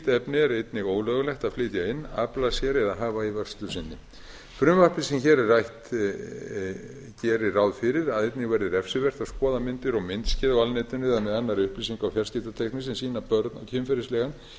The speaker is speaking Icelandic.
efni er einnig ólöglegt að flytja inn afla sér eða hafa í vörslu sinni frumvarpið sem hér er rætt gerir ráð fyrir að einnig verði refsivert að skoða myndir og myndskeið á alnetinu eða með annarri upplýsinga og fjarskiptatækni sem sýna börn á kynferðislegan